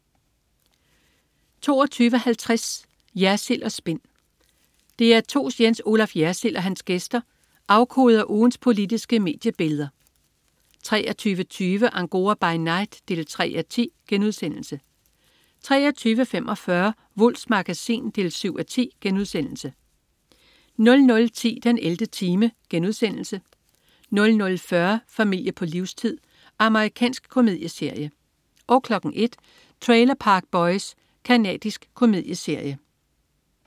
22.50 Jersild & Spin. DR2's Jens Olaf Jersild og hans gæster afkoder ugens politiske mediebilleder 23.20 Angora by night 3:10* 23.45 Wulffs Magasin 7:10* 00.10 den 11. time* 00.40 Familie på livstid. Amerikansk komedieserie 01.00 Trailer Park Boys. Canadisk komedieserie